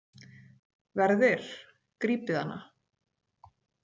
Verðir grípið hana